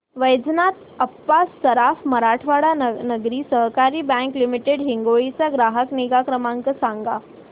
वैजनाथ अप्पा सराफ मराठवाडा नागरी सहकारी bank limited Hingoli चा ग्राहक निगा क्रमांक सांगा